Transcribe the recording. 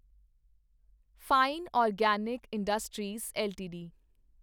fine organic industries LTD